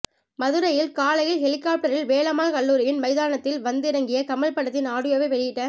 மதுரையில் காலையில் ஹெலிகாப்டரில் வேலம்மாள் கல்லூரியின் மைதானத்தில் வந்திறங்கிய கமல் படத்தின் ஆடியோவை வெளியிட